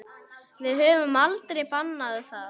Við höfum aldrei bannað það.